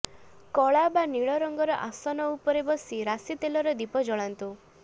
କଳା ବା ନୀଳ ରଙ୍ଗର ଆସନ ଉପରେ ବସି ରାଶି ତେଲର ଦୀପ ଜଳାନ୍ତୁ